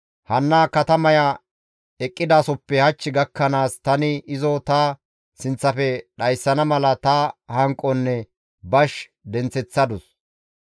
Hanna katamaya eqqidaasoppe hach gakkanaas tani izo ta sinththafe dhayssana mala ta hanqonne bash denththeththadus.